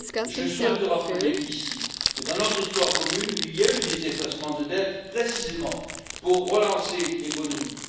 Je souhaite rappeler que dans notre histoire commune, il y a eu des effacements de dette précisément pour relancer l'économie.